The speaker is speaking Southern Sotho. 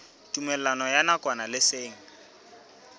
tumellano ya nakwana le seng